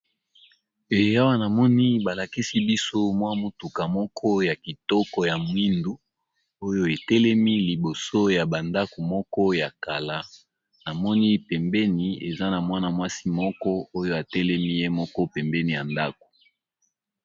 Ee awa na moni ba lakisi biso mwa mutuka moko ya kitoko ya mwindu oyo etelemi liboso ya bandako moko ya kala. Namoni pembeni eza na mwana-mwasi moko oyo atelemi ye moko pembeni ya ndako.